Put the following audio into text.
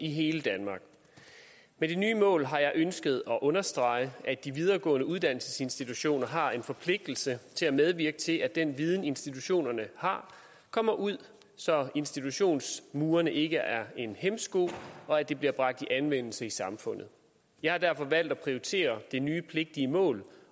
i hele danmark med det nye mål har jeg ønsket at understrege at de videregående uddannelsesinstitutioner har en forpligtelse til at medvirke til at den viden institutionerne har kommer ud så institutionsmurene ikke er en hæmsko og at den bliver bragt i anvendelse i samfundet jeg har derfor valgt at prioritere det nye pligtige mål